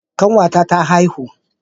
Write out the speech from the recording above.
Kanwata ta haihu